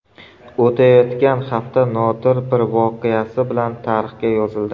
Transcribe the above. O‘tayotgan hafta nodir bir voqeasi bilan tarixga yozildi.